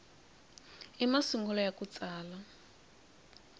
i masungulo ya ku tsala